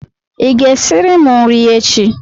Ị ga-esiri m nri echi.!